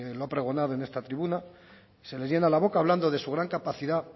lo ha pregonado en esta tribuna se les llena la boca hablando de su gran capacidad